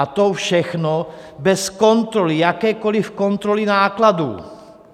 A to všechno bez kontroly, jakékoliv kontroly nákladů.